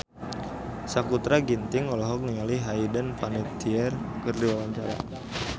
Sakutra Ginting olohok ningali Hayden Panettiere keur diwawancara